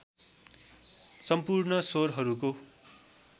सम्पूर्ण स्वरहरूको